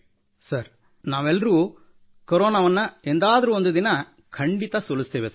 sir ನಾವೆಲ್ಲರೂ ಕೊರೋನಾವನ್ನು ಎಂದಾದರೊಂದು ದಿನ ಖಂಡಿತಾ ಸೋಲಿಸುತ್ತೇವೆ ಸರ್